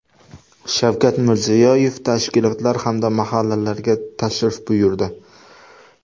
Shavkat Mirziyoyev tashkilotlar hamda mahallalarga tashrif buyurdi.